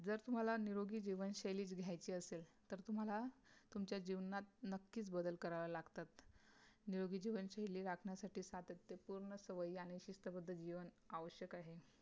जर तुम्हाला निरोगी जीवनशैली च घ्यायची असेल तर तुम्हाला तुमच्या जीवनात नक्की बदल कराव्या लागतात निरोगी जीवनशैली राखण्यासाठी सातत्यपूर्ण सवयी आणि शिस्तबद्ध जीवन आवश्यक आहे